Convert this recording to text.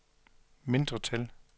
mindretal